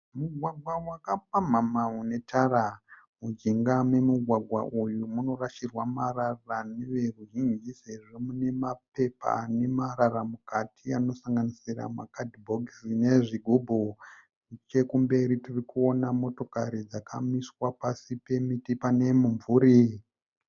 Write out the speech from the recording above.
Mugwagwa wakapamhamha une tara. Mujinga memugwagwa uyu munorashirwa marara nevoruzhinji sezvo mune mapepa nemarara mukati anosanganisira makadhibhokisi nezvigubhu. Nechekumberi tirikuona motokarari dzakamiswa pasi pemuti pane mumvuri.